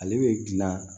Ale bɛ dilan